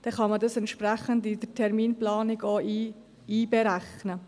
So kann man dies in der Terminplanung berücksichtigen.